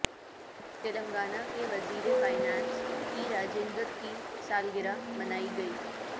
تلنگانہ کے وزیر finance E Rajender کی سالگرہ منائی گئی